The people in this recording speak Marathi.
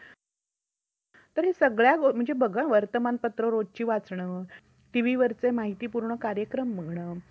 अशा वाहनांचा आणि engine क्रमांक passes क्रमांक वाहनांचा दर्जा cubic क्षमता रक्कमेची क्षमता इत्यादी खरे त्याचा संबंधित तपशील